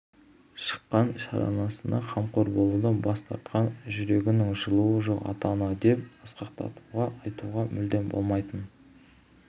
шыққан шаранасына қамқор болудан бас тартқан жүрегінің жылуы жоқ ата-ана деп асқақтата айтуға мүлдем болмайтын